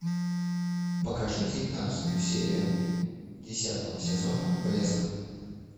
покажи девятнадцатую серию десятого сезона блеск